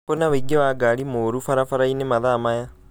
kwi na ũingĩ wa ngari mũru barabara-inĩ nene mathaa maya